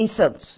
Em Santos.